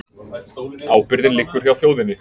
Ábyrgðin liggur hjá þjóðinni